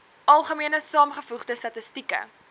algemene saamgevoegde statistieke